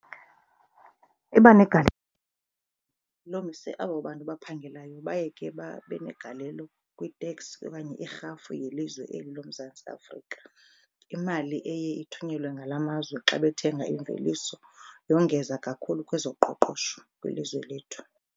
Iba negalelo abo bantu baphangelayo baye ke babe negalelo kwi-tax okanye irhafu yelizwe eli loMzantsi Afrika. Imali eye ithunyelwe ngala mazwe xa bethenga imveliso yongeza kakhulu kwezoqoqosho kwilizwe lethu